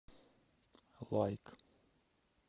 лайк